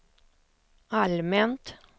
allmänt